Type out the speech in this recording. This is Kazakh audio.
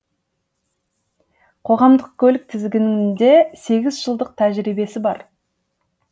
қоғамдық көлік тізгінінде сегіз жылдық тәжірибесі бар